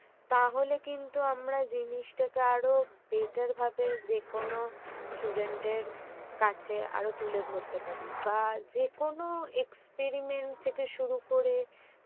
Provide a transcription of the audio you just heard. তাহলে কিন্তু আমরা জিনিসটাকে আরো better ভাবে যেকোন student এর কাছে আরো তুলে ধরতে পারি। বা যেকোনো experiment থেকে শুরু করে